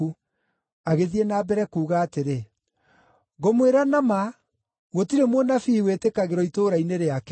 Agĩthiĩ na mbere kuuga atĩrĩ, “Ngũmwĩra na ma, gũtirĩ mũnabii wĩtĩkagĩrwo itũũra-inĩ rĩake.